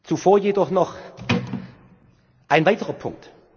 vor. Zuvor jedoch noch ein weiterer Punkt.